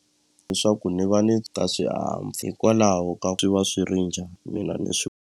Leswaku ni va ni ta hikwalaho ka swi va swi ri njhani mina ni .